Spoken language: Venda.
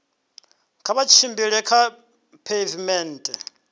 kha vha tshimbile kha pheivimennde